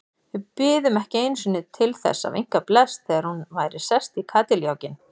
Við biðum ekki einu sinni til að vinka bless þegar hún væri sest í kádiljákinn.